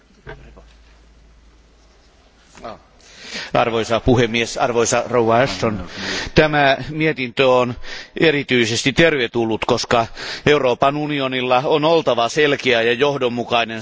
Arvoisa puhemies, arvoisa korkea edustaja Ashton, tämä mietintö on erityisesti tervetullut, koska Euroopan unionilla on oltava selkeä ja johdonmukainen strategia Iranin kaltaisen valtion kohdalla.